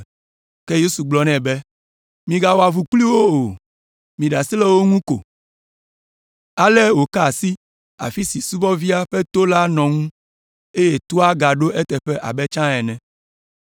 Ke Yesu gblɔ nɛ be, “Migawɔ avu kpli wo o, miɖe asi le wo ŋu ko.” Ale wòka asi afi si subɔvia ƒe to la nɔ ŋu, eye toa gaɖo eteƒe abe tsã ene.